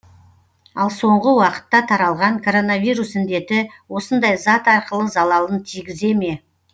ал соңғы уақытта таралған короновирус індеті осындай зат арқылы залалын тигізе ме